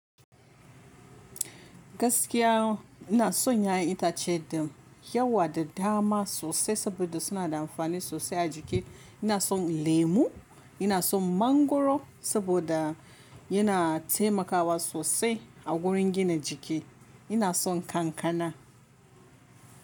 Gaskiya ina son 'ya'yan itace da yawa da dama sosai saboda suna da amfani sosai a jiki. Ina son lemu, ina son mangoro saboda yana taimakawa sosai a wurin gina jiki, ina son kankana.